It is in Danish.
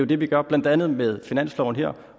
det vi gør blandt andet med finansloven her